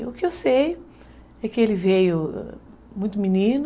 E o que eu sei é que ele veio muito menino.